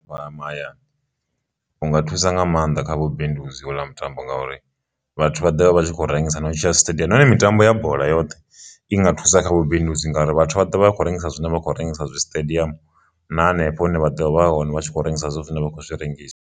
Vha mahayani u nga thusa nga maanḓa kha vhubindudzi houḽa mutambo ngauri vhathu vha ḓovha vha tshi khou rengisa na u tshila stadium, nahone mitambo ya bola yoṱhe i nga thusa kha vhubindudzi ngauri vhathu vha ḓo vha vha khou rengisa zwine vha khou rengisa zwi stadium na hanefho hune vha ḓo vha hone vha tshi khou rengisa zwine vha khou zwi rengisa.